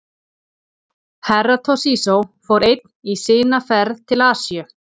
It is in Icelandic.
Herra Toshizo fór einn í sina ferð til Asíu.